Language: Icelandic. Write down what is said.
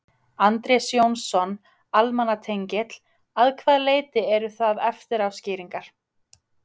Andrés Jónsson, almannatengill: Að hvaða leyti eru það eftirá skýringar?